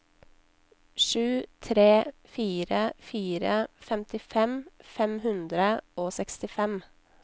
sju tre fire fire femtifem fem hundre og sekstifem